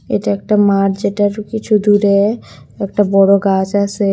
এটা একটা মাঠ যেটার কিছু দূরে একটা বড়ো গাছ আসে।